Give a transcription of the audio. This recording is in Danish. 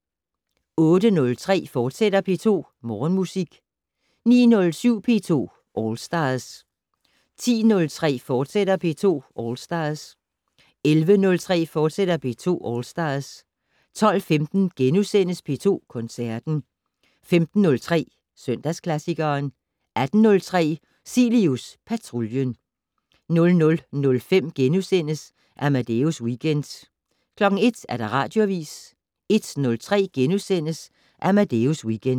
08:03: P2 Morgenmusik, fortsat 09:07: P2 All Stars 10:03: P2 All Stars, fortsat 11:03: P2 All Stars, fortsat 12:15: P2 Koncerten * 15:03: Søndagsklassikeren 18:03: Cilius Patruljen 00:05: Amadeus Weekend * 01:00: Radioavis 01:03: Amadeus Weekend *